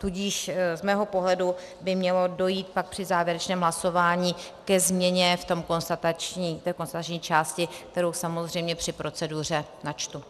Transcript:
Tudíž z mého pohledu by mělo dojít pak při závěrečném hlasování ke změně v té konstatační části, kterou samozřejmě při proceduře načtu.